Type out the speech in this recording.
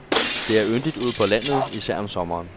Der er yndigt ude på landet, især om sommeren.